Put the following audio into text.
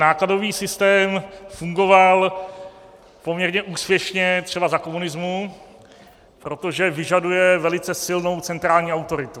Nákladový systém fungoval poměrně úspěšně třeba za komunismu, protože vyžaduje velice silnou centrální autoritu.